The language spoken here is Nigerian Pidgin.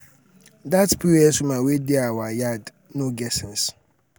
dat pos woman wey dey our yard um no get sense.